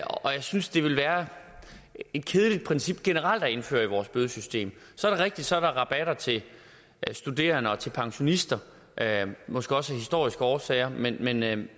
synes det ville være et kedeligt princip generelt at indføre i vores bødesystem så er det rigtigt så er rabatter til studerende og til pensionister måske også af historiske årsager men jeg